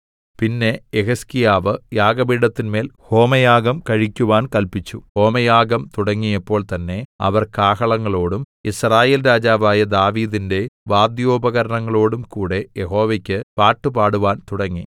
പിന്നെ യെഹിസ്കീയാവ് യാഗപീഠത്തിന്മേൽ ഹോമയാഗം കഴിക്കുവാൻ കല്പിച്ചു ഹോമയാഗം തുടങ്ങിയപ്പോൾ തന്നേ അവർ കാഹളങ്ങളോടും യിസ്രായേൽ രാജാവായ ദാവീദിന്റെ വാദ്യോപകരണങ്ങളോടും കൂടെ യഹോവയ്ക്ക് പാട്ടുപാടുവാൻ തുടങ്ങി